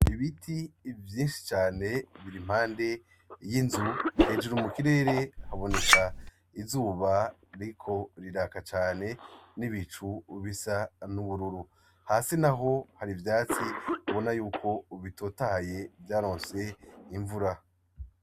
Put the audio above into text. Ibiti vyinshi cane biri impande y'inzu, hejuru mu kirere haboneka izuba ririko riraka cane n'ibicu bisa n'ubururu, hasi naho hari ivyatsi ubona yuko bitotahaye vyaronse imvura.